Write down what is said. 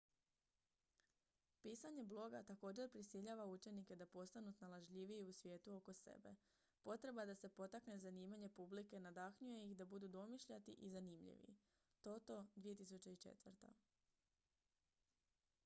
pisanje bloga također prisiljava učenike da postanu snalažljiviji u svijetu oko sebe”. potreba da se potakne zanimanje publike nadahnjuje ih da budu domišljati i zanimljivi toto 2004